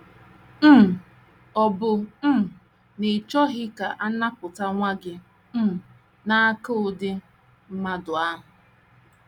um Ọ̀ bụ um na ị chọghị ka a napụta nwa gị um n’aka ụdị mmadụ ahụ?